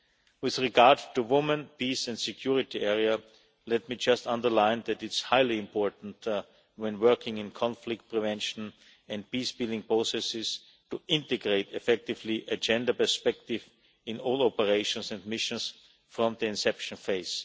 us. With regards to the women, peace and security field, let me just underline that it is highly important when working in conflict prevention and peace building processes to integrate effectively a gender perspective in all operations and missions from the inception phase.